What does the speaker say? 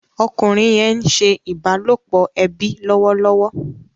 Ọkùnrin yén ńse ìbálòpọ̀ ẹbí lọwọlọwọ